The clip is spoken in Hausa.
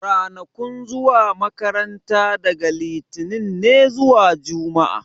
Ranakun zuwa makaranta daga litinin ne zuwa juma'a